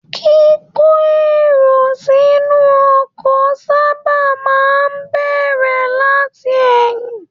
Kiko èrò sínú ọkọ̀ sábà máa n bẹrẹ láti ẹyin.